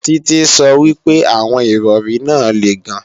Títí sọ wípé àwọn Ìrọ̀rí náà le gan